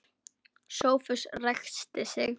Sófus ræskti sig.